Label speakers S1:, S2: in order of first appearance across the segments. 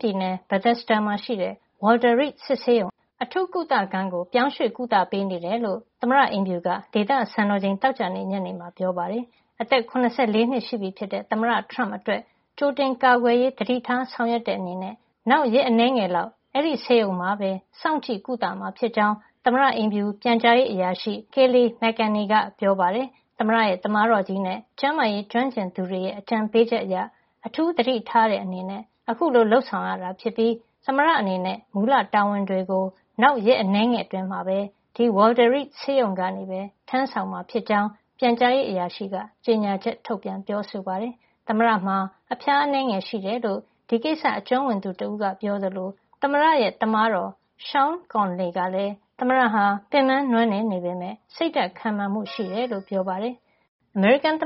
S1: ပြည်နယ် Bethesda မှာရှိတဲ့ Walter Reed စစ်ဆေးရုံ အထူးကုသခန်းကို ပြောင်းရွှေ့ကုသပေးနေတယ်လို့ သမ္မတအိမ်ဖြူက ဒေသစံတော်ချိန် သောကြာနေ့ ညနေမှာ ပြောပါတယ်။ အသက် ၇၄ နှစ်ရှိပြီဖြစ်တဲ့ သမ္မတ ထရမ့်အတွက် ကြိုတင်ကာကွယ်ရေး သတိထားဆောင်ရွက်တဲ့ အနေနဲ့ နောက်ရက်အနည်းငယ် လောက် အဲဒီဆေးရုံမှာပဲ စောင့်ကြည့်ကုသမှာ ဖြစ်ကြောင်း သမ္မတအိမ်ဖြူ ပြန်ကြားရေးအရာရှိ Kayleigh McEnany က ပြောပါတယ်။ သမ္မတရဲ့ သမားတော်ကြီးနဲ့ ကျန်းမာရေးကျွမ်းကျင်သူတွေရဲ့ အကြံပေးချက်အရ အထူးသတိထားတဲ့ အနေနဲ့ အခုလို လုပ်ဆောင်တာ ဖြစ်ပြီး သမ္မတအနေနဲ့ မူလတာဝန်တွေကို နောက်ရက်အနည်းငယ်အတွင်း ဒီ Walter Reed ဆေးရုံကနေပဲ ထမ်းဆောင်မှာ ဖြစ်ကြောင်း ပြန်ကြားရေး အရာရှိက ကြေညာချက် ထုတ်ပြန် ပြောဆိုပါတယ်။ သမ္မတမှာ အဖျားအနည်းငယ်ရှိတယ်လို့ ဒီကိစ္စအကျွမ်းဝင်သူတဦးက ပြောသလို သမ္မတရဲ့ သမားတော် Sean P. Conley ကလည်း သမ္မတဟာ ပင်ပန်းနွမ်းနယ် နေပေမယ့် စိတ်ဓါတ် ခိုင်မာမှု ရှိကြောင်း ပြောပါတယ်။ သမ္မတဒေါ်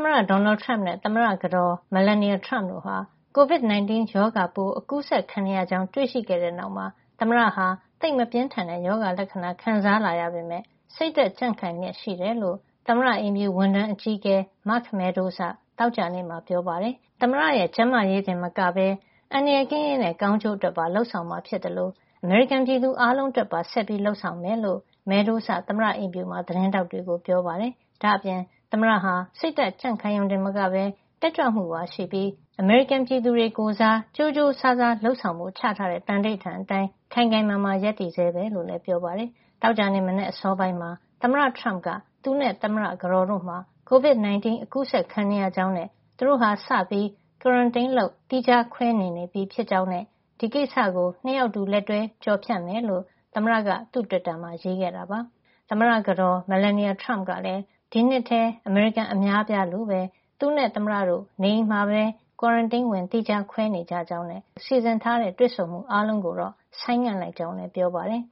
S1: နယ်ထရမ့်နဲ့ သမ္မတကတော် Melania Trump တို့ဟာ COVID-19 ရောဂါပိုး အကူးစက်ခံနေရကြောင်း တွေ့ရှိခဲ့တဲ့နောက်မှာ သမ္မတဟာ သိပ်မပြင်းထန်တဲ့ ရောဂါလက္ခဏာ ခံစားလာရပေမယ့် စိတ်ဓါတ်ကြံ့ခိုင်လျက်ရှိတယ်လို့ သမ္မတအိမ်ဖြူ ဝန်ထမ်းအကြီးအကဲ Mark Meadows က သောကြာနေ့မှာ ပြောပါတယ်။ သမ္မတမှာ ရောဂါလက္ခဏာ နဲနဲပြလာကြောင်းနဲ့ သမ္မတရဲ့ ကျန်းမာရေးတင်မကပဲ အန္တရာယ်ကင်းရေးနဲ့ ကောင်းကျိုးအတွက် လုပ်ဆောင်မှာ ဖြစ်သလို အမေရိကန်ပြည်သူအားလုံးအတွက်ပါ ဆက်ပြီး လုပ်ဆောင်မှာ ဖြစ်ကြောင်း. Meadows က သမ္မတအိမ်ဖြူမှာ သတင်းထောက်တွေကို ပြောပါတယ်။ ဒါ့အပြင် သမ္မတဟာ စိတ်ဓါတ်ကြံ့ခိုင်ရုံတင်မကပဲ တက်ကြွမှုပါ ရှိပြီး အမေရိကန်ပြည်သူတွေ ကိုယ်စား ကြိုးကြိုးစားစားလုပ်ဆောင်ဖို့ ချထားတဲ့ သံဓိဌာန် အတိုင်း ခိုင်ခိုင်မာမာ ဆက်ရပ်တည်ဆဲပဲ လို့လည်း ပြောပါတယ်။ သောကြာနေ့ မနက်အစောပိုင်းမှာ သမ္မတထရမ့်က သူနဲ့ သမ္မတကတော်တို့မှာ COVID 19 အကူးစက်ခံနေရကြောင်းနဲ့ သူတို့ဟာ စပြီး quarantine လုပ် သီးခြားခွဲနေနေပြီ ဖြစ်ကြောင်းနဲ့ ဒီကိစ္စကို ၂ ယောက်အတူ လက်တွဲ ကျော်ဖြတ်ကြမှာ ဖြစ်ကြောင်း သမ္မတက သူ့တွစ်တာမှာ ရေးခဲ့တာပါ။ သမ္မတကတော် Melania Trump ကလည်း COVID-19 အကူးစက်ခံခဲ့ရတဲ့နောက် ဒီနှစ်ထဲ အမေရိကန် အများအပြားလိုပဲ သူနဲ့သမ္မတတို့ နေအိမ်မှာပဲ quarantine ဝင် သီးခြားခွဲနေကြကြောင်းနဲ့ သူတို့ ၂ ဦးစလုံး နေကောင်းသလို စီစဉ်ထားတဲ့ တွေ့ဆုံမှုအားလုံးကိုတော့ ဆိုင်းငံ့လိုက်ကြောင်းလည်း ပြောပါတယ်